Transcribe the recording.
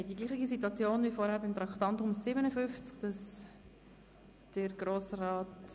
Wir haben die gleiche Situation wie zuvor beim Traktandum 57. Grossrat